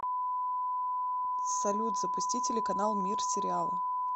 салют запусти телеканал мир сериала